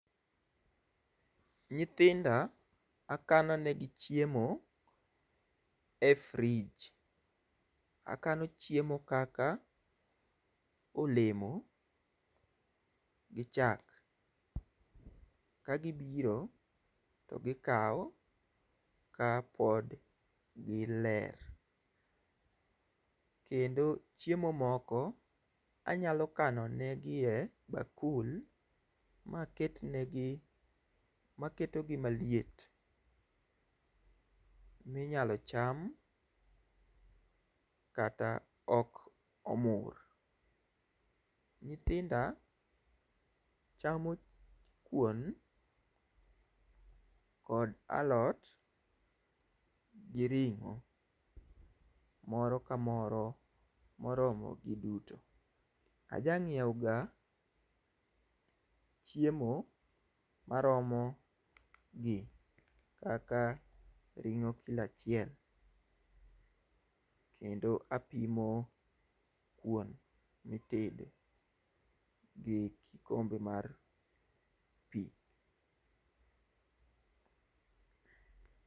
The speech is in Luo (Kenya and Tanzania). nyithinda akano ne gi chiemo e fridge . Akano chiemo kaka olemo gi chak ka gibiro to gikawo kapod gi ler kendo chiemo moko anyalo kano ne gi e bakul maket ne gi maketo gi maliet minyalo cham kata ok omur. Nyithinda chamo kuon kod alot gi ring'o moro kamoro moromo giduto aja nyiewo ga chiemo maromo gi kaka ringo kilo achiel kendo apimo kuon mitedo gi kombe mar pii.